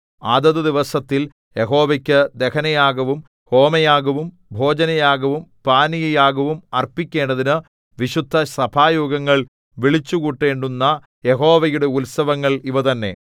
അതത് ദിവസത്തിൽ യഹോവയ്ക്കു ദഹനയാഗവും ഹോമയാഗവും ഭോജനയാഗവും പാനീയയാഗവും അർപ്പിക്കേണ്ടതിന് വിശുദ്ധസഭായോഗങ്ങൾ വിളിച്ചുകൂട്ടേണ്ടുന്ന യഹോവയുടെ ഉത്സവങ്ങൾ ഇവ തന്നെ